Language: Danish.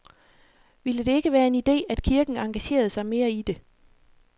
Ville det ikke være en idé, at kirken engagerede sig mere i det?